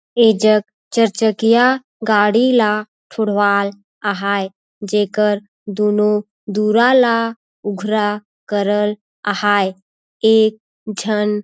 ये जग चरचकिया गाड़ी ला छुड़वाल आहाय जेकर दुनों दूरा ला ऊघरा करल आहाय एक झन--